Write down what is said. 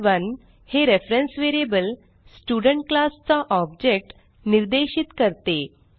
स्टड1 हे reference variable student class चा ऑब्जेक्ट निर्देशित करते